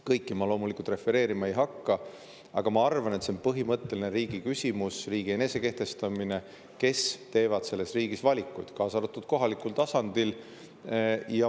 Kõike ma loomulikult refereerima ei hakka, aga ma arvan, riigi põhimõtteline küsimus, riigi enesekehtestamise küsimus on see, kes teevad selles riigis valikuid, kaasa arvatud kohalikul tasandil.